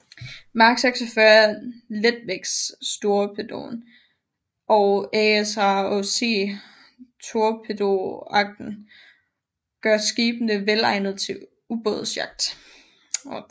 Mark 46 letvægtstorpedoen og ASROC torpedoraketten gør skibene velegnede til ubådsjagt